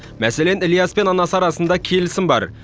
мәселен ілияс пен анасы арасында келісім бар